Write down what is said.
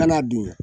Kana dun